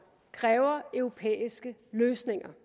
kræver europæiske løsninger